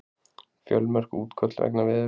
Fjölmörg útköll vegna veðurs